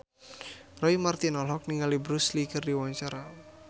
Roy Marten olohok ningali Bruce Lee keur diwawancara